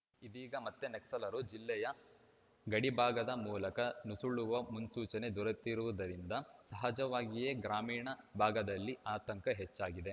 ಇದೀಗ ಮತ್ತೆ ನಕ್ಸಲರು ಜಿಲ್ಲೆಯ ಗಡಿಭಾಗದ ಮೂಲಕ ನುಸುಳುವ ಮುನ್ಸೂಚನೆ ದೊರೆತಿರುವುದರಿಂದ ಸಹಜವಾಗಿಯೇ ಗ್ರಾಮೀಣ ಭಾಗದಲ್ಲಿ ಆತಂಕ ಹೆಚ್ಚಾಗಿದೆ